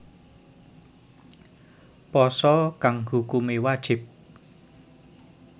Pasa kang hukumé wajib